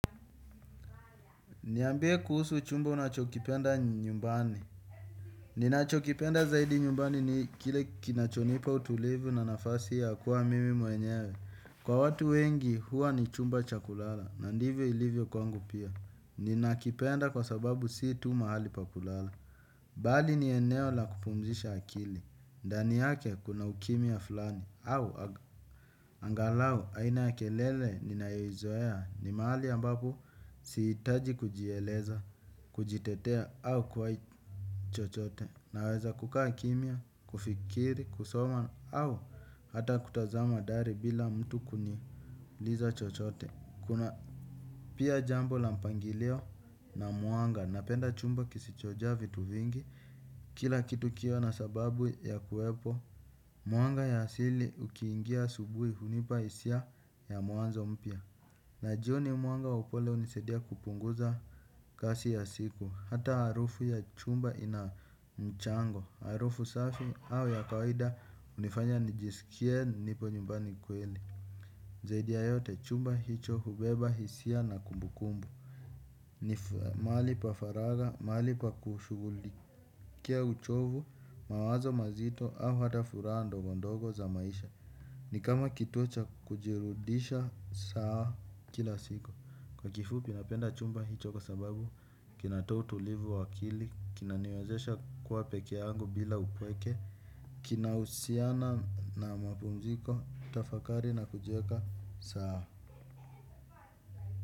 Niambie kuusu chumba unachokipenda nyumbani. Ninachokipenda zaidi nyumbani ni kile kinachonipa utulivu na nafasi ya kuwa mimi mwenyewe. Kwa watu wengi huwa ni chumba cha kulala na ndivyo ilivyo kwangu pia. Ninakipenda kwa sababu si tu mahali pa kulala. Bali ni eneo la kupumzisha akili. Ndani yake kuna ukimya fulani. Au angalau aina ya kelele ninayoizoea ni mahali ambapo siitaji kujieleza. Kujitetea au kwaichochote naweza kukaa kimya, kufikiri, kusoma au hata kutazama dari bila mtu kuniuliza chochote. Kuna pia jambo la mpangilio na mwanga. Napenda chumba kisichojaa vitu vingi kila kitu kiwe na sababu ya kuwepo. Mwanga ya asili ukiingia subuhi hunipa hisia ya mwanzo mpya. Na jioni mwanga wa upole unisadia kupunguza kasi ya siku, hata harufu ya chumba ina mchango, harufu safi au ya kawaida unifanya nijisikie nipo nyumbani kweli. Zaidi ya yote chumba hicho hubeba hisia na kumbukumbu. Ni maali pa faraga, maali pa kushuguli Kia uchovu, mawazo mazito au hata furaha ndogondogo za maisha. Ni kama kituo cha kujirudisha saa kila siku. Kwa kifupi napenda chumba hicho kwa sababu, kinatoa utulivu wa akili, kinaniwezesha kuwa pekeyangu bila upweke. Kina usiana na mapumziko, utafakari na kujieka sawa.